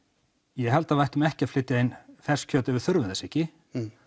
ég held að við ættum ekki að flytja inn ferskt kjöt ef við þurfum þess ekki